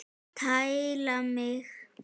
Tæla mig!